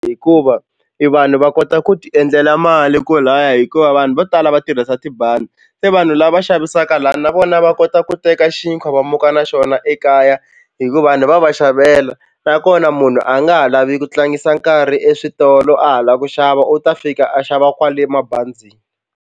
Hikuva i vanhu va kota ku tiendlela mali kolaya hikuva vanhu vo tala va tirhisa tibazi se vanhu lava xavisaka lani na vona va kota ku teka xinkwa va muka na xona ekaya hikuva vanhu va va xavela nakona munhu a nga ha lavi ku tlangisa nkarhi eswitolo a ha lava ku xava u ta fika a xava kwale mabazini.